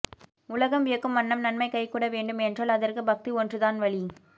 உலகம் வியக்கும் வண்ணம் நன்மை கைகூட வேண்டும் என்றால் அதற்கு பக்தி ஒன்றுதான் வழி